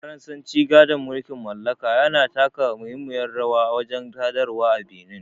Faransanci, gadon mulkin mallaka, yana taka muhimmiyar rawa wajen sadarwa a Benin.